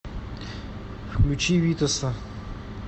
включи витаса